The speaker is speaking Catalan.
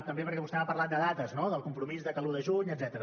també perquè vostè m’ha parlat de dates no del compromís de que l’un de juny etcètera